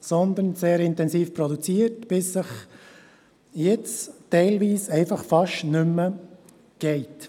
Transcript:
Vielmehr hat man sehr intensiv produziert, bis es jetzt teilweise einfach fast nicht mehr geht: